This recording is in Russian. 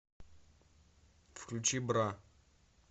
включи бра